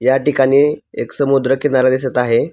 या ठिकाणी एक समुद्र किनारा दिसत आहे.